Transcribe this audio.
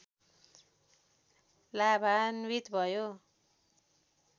लाभान्वित भयो।